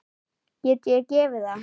Get ég gefið það?